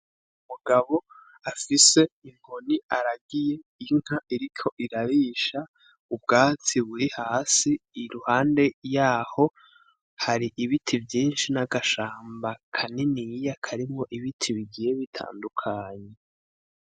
Umugabo afise inkoni aragiye inka iriko irarisha, ubwatsi burihasi ,iruhande yaho hari ibiti vyinshi n'agashamba, kaniniya karimwo ibiti bigiye bitandukanye.